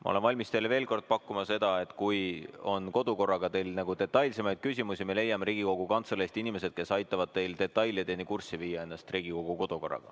Ma olen valmis teile veel kord pakkuma seda, et kui teil on kodukorra kohta detailsemaid küsimusi, siis me leiame Riigikogu Kantseleist inimesed, kes aitavad teil end Riigikogu kodukorraga detailideni kurssi viia.